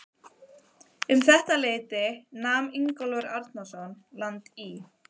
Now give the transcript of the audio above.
Um þetta leyti nam Ingólfur Arnarson land í